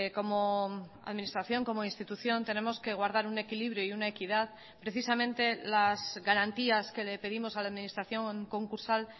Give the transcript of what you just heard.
como administración como institución tenemos que guardar un equilibrio y una equidad precisamente las garantías que le pedimos a la administración concursal